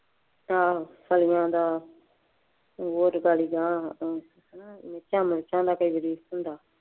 ਆਹ ਸਾਇਆਂ ਦਾ